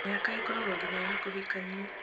mĩhaka ĩkoragwo nginya ya kũhikania